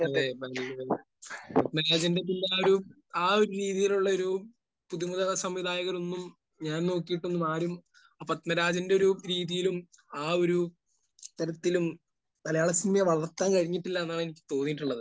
അതെ. പന്തരാജന്റെ ഒരു...ആ ഒരു രീതിയിലുള്ളൊരു പുതുമുഖസംവിധായകരൊന്നും ഞാൻ നോക്കിയിട്ടും ആരും പത്മരാജന്റെ ഒരു രീതിയിലും ആ ഒരു തരത്തിലും മലയാളസിനിമയെ വളർത്താൻ കഴിഞ്ഞിട്ടില്ല എന്നാണ് എനിക്ക് തോന്നിയിട്ടുള്ളത്.